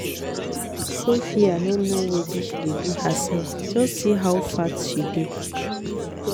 Sophia no know wetin she dey do herself, just see how fat she dey